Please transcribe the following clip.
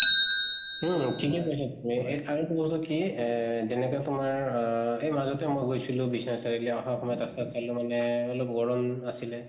হুম ঠিকে কৈছা তুমি কি এহ যেনেকা তোমাৰ আহ এই মাজতে মই গৈছিলো বিশ্বনাথ চাৰিআলি । আহাৰ সমতত ৰাস্তাত পালো মানে এহ অলপ গৰম আছিলে